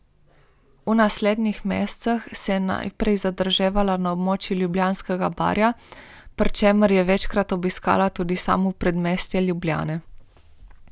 V naslednjih mesecih se je najprej zadrževala na območju Ljubljanskega barja, pri čemer je večkrat obiskala tudi samo predmestje Ljubljane.